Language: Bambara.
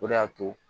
O de y'a to